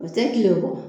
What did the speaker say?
O tɛ kile kɔ